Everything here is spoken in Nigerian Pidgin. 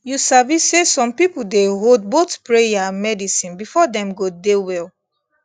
you sabi say some people dey hold both prayer and medicine before dem go dey well